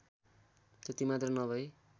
त्यति मात्र नभई